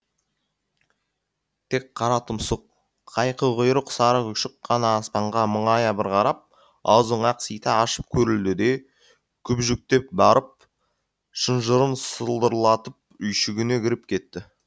тек қара тұмсық қайқы құйрық сары күшік қана аспанға мұңая бір қарап аузын ақсита ашып көрілді де күбіжіктеп барып шынжырын сылдырлатып үйшігіне кіріп кетті